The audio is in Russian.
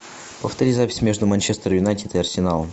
повтори запись между манчестер юнайтед и арсеналом